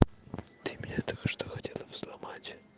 ты меня только что хотела взломать